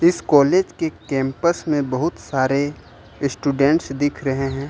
इस कॉलेज के कैंपस में बहुत सारे स्टूडेंट्स दिख रहे हैं।